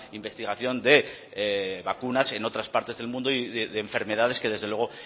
investigación de vacunas en otras partes del mundo y de enfermedades que desde luego